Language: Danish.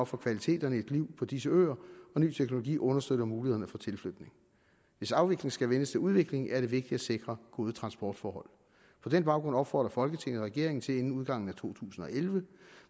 for kvaliteterne i et liv på disse øer og ny teknologi understøtter mulighederne for tilflytning hvis afvikling skal vendes til udvikling er det vigtigt at sikre gode transportforhold på den baggrund opfordrer folketinget regeringen til inden udgangen af to tusind og elleve